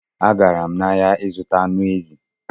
Agara m n'ahịa ịzụta anụ ezi